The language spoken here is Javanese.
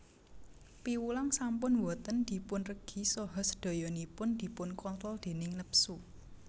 Piwulang sampun boten dipunregi saha sedayanipun dipunkontrol déning nepsu